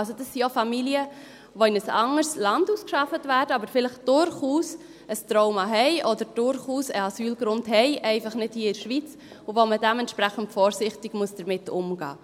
Das sind also auch Familien, die in ein anderes Land ausgeschafft werden, aber vielleicht durchaus ein Trauma oder durchaus einen Asylgrund haben, einfach nicht hier in der Schweiz, und bei denen man dementsprechend vorsichtig damit umgehen muss.